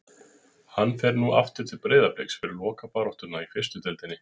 Hann fer nú aftur til Breiðabliks fyrir lokabaráttuna í fyrstu deildinni.